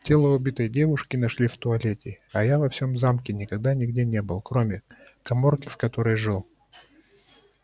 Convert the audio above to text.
тело убитой девушки нашли в туалете а я во всём замке никогда нигде не был кроме каморки в которой жил